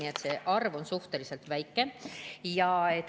Nii et see arv on suhteliselt väike.